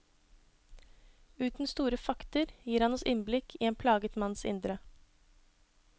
Uten store fakter gir han oss innblikk i en plaget manns indre.